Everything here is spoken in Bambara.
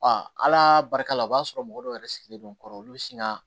ala barika la o b'a sɔrɔ mɔgɔ dɔw yɛrɛ sigilen don n kɔrɔ olu bɛ sin ka